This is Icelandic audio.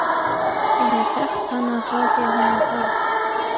Ég hef þekkt hana frá því að hún var barn.